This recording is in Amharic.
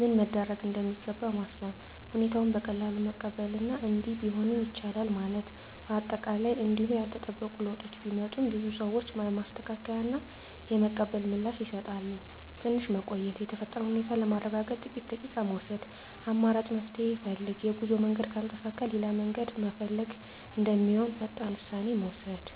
ምን መደረግ እንደሚገባ ማሰብ። ሁኔታውን በቀላሉ መቀበል እና “እንዲህ ቢሆንም ይቻላል” ማለት። አጠቃላይ እንዲሁ ያልተጠበቁ ለውጦች ቢመጡም፣ ብዙ ሰዎች የማስተካከያ እና የመቀበል ምላሽ ይሰጣሉ። ትንሽ መቆየት – የተፈጠረውን ሁኔታ ለማረጋገጥ ጥቂት ደቂቃ መውሰድ። አማራጭ መፍትሄ ፈልግ – የጉዞ መንገድ ካልተሳካ ሌላ መንገድ መፈለግ እንደሚሆን ፈጣን ውሳኔ መውሰድ።